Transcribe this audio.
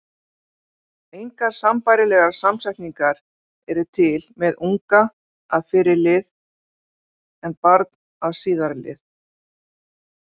Engar sambærilegar samsetningar eru til með unga- að fyrri lið en barn að síðari lið.